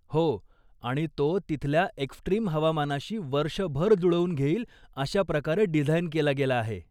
हो, आणि तो तिथल्या एक्स्ट्रीम हवामानाशी वर्षभर जुळवून घेईल अशाप्रकारे डिझाईन केला गेला आहे.